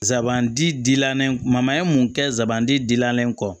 Zanbandi dilalen ma ye mun kɛ zabandi dilalen kɔ